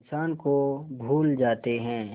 इंसान को भूल जाते हैं